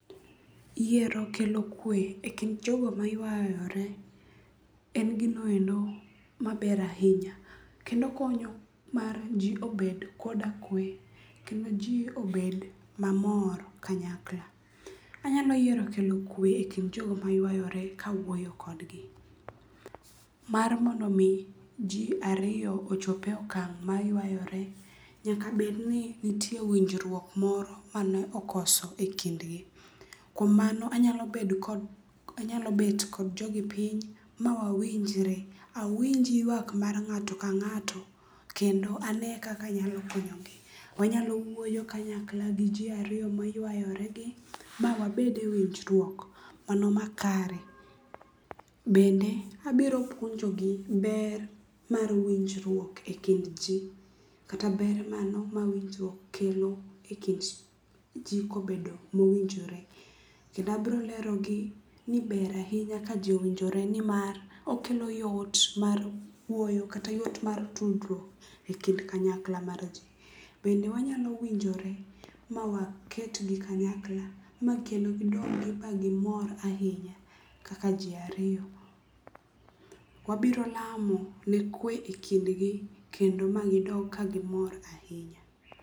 Yiero kelo kwe e kind jogo maywayore en gino endo maber ahinya kendo okonyo mar ji obed koda kwe kendo ji obed mamor kanyakla. Anyalo yiero kelo kwe e kind jogo maywayore kawuoyo kodgi. Mar mondo omi ji ariyo ochop e okang' maywayore nyaka bed ni nitie winjruok moro mane okoso e kindgi. Kuom mano anyalo bet kod jogi piny ma wawinjre, awinj ywak mar ng'ato ka ng'ato kendo ane kaka anyalo konyogi. Wanyalo wuoyo kanyakla gi ji ariyo maywayoregi ma wabed e winjruok mano makare. Bende abiro puonjogi ber mar winjruok e kind ji kata ber mano ma winjruok kelo e kind ji kobedo mowinjore, kendo abiro lerogi ni ber ahinya ka ji owinjore nimar okelo yot mar wuoyo kata yot mar tudruok e kind kanyakla mar ji. Bende wanyalo winjore ma waketgi kanyakla ma kendo gidog ba gimor ahinya kaka ji ariyo. Wabiro lamo ne kwe e kindgi kendo ma gidog ka gimor ahinya.